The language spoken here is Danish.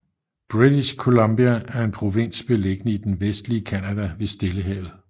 British Columbia er en provins beliggende i det vestlige Canada ved Stillehavet